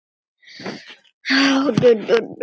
Páll: Af hverju?